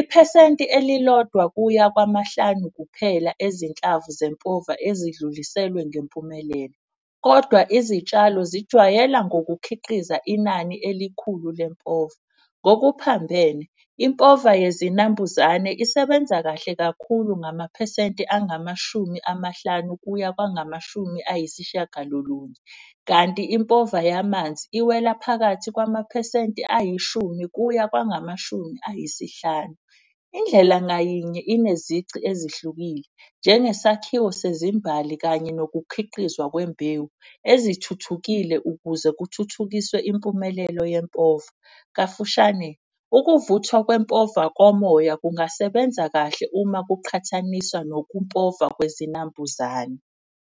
iphesenti elilodwa kuya kwamahlanu kuphela ezinhlanu zempova ezidluliselwe ngempumelelo. Kodwa izitshalo zijwayela ngokukhiqiza inani elikhulu lempova. Ngokuphambene impova yezinambuzane isebenza kahle kakhulu ngamaphesenti angamashumi amahlanu kuya kwangamashumi ayisishiyagalolunye. Kanti impova yamanzi iwela phakathi kwamaphesenti ayishumi kuya kwangamashumi ayisihlanu. Indlela ngayinye inezici ezihlukile njenge sakhiwo sezimbali kanye nokukhiqizwa kwembewu. Ezithuthukile ukuze kuthuthukiswe impumelelo yempova, kafushane ukuvuthwa kwempova komoya kungasebenza kahle uma kuqhathaniswa nokumpova kwezinambuzane.